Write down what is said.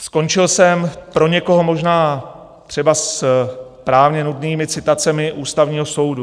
Skončil jsem, pro někoho možná třeba s právně nudnými citacemi Ústavního soudu.